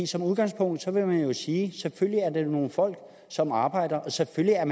som udgangspunkt vil man jo sige at selvfølgelig er det nogle folk som arbejder og selvfølgelig er